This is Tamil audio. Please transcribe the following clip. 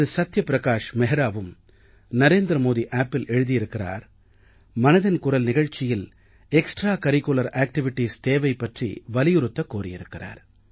சத்யப்ரகாஷ் மெஹ்ராவும் narendramodiappஇல் எழுதி இருக்கிறார் மனதின் குரல் நிகழ்ச்சியில் எக்ஸ்ட்ராகரிக்குலர் ஆக்டிவிட்டீஸ் தேவை பற்றி வலியுறுத்த கோரியிருந்தார்